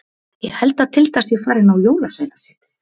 Ég held að Tilda sé farin á Jólasveinasetrið.